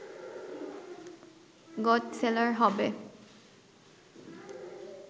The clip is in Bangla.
গুড সেলার হবে